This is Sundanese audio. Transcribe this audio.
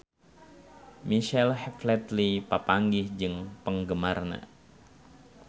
Michael Flatley papanggih jeung penggemarna